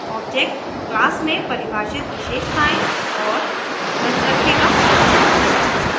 object class में परिभाषित विशषताएं और मेथड्स रखेगा